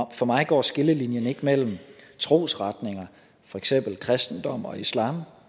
og for mig går skillelinjen ikke mellem trosretninger for eksempel kristendom og islam